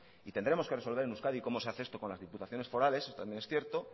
y tendremos que resolver en euskadi cómo se hace esto con las diputaciones forales también es cierto